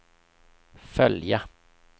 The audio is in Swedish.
följa